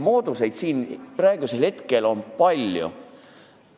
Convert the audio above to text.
Moodusi on siin palju.